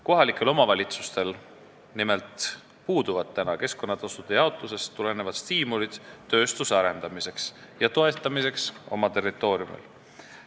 Kohalikel omavalitsustel nimelt puuduvad keskkonnatasude jaotusest tulenevad stiimulid tööstuse arendamiseks ja toetamiseks oma territooriumil.